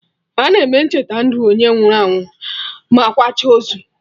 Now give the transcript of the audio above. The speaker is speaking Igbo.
Ana eme Ncheta ndụ onye nwụrụ anwụ ma akwacha ozu